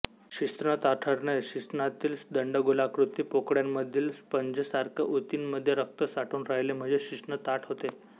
शिश्न ताठरणे शिश्नातील दंडगोलाकृती पोकळ्यांमधील स्पंजसारख्या उतींमध्ये रक्त साठून राहिले म्हणजे शिश्न ताठ होते